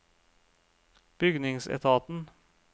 bygningsetaten